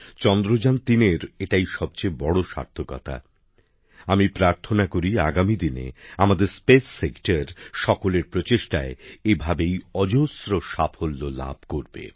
চন্দ্রযানতিনের এটাই সবচেয়ে বড় সার্থকতা আমি প্রার্থনা করি আগামীদিনে আমাদের মহাকাশ ক্ষেত্র সকলের প্রচেষ্টায় এভাবেই অজস্র সাফল্য অর্জন করবে